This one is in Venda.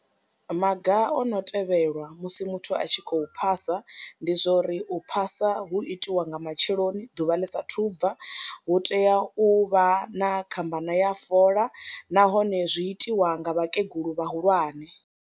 Maga o no tevhelwa musi muthu a tshi khou phasa ndi zwa uri u phasa hu itiwa nga matsheloni ḓuvha ḽi saathu u bva, hu tea u vha na khambana ya fola nahone zwi itiwa nga vhakegulu vhahulwane.